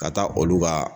Ka taa olu ka